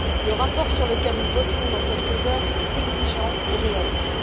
Le rapport sur lequel nous voterons dans quelques heures est exigeant et réaliste.